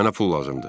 Mənə pul lazımdır.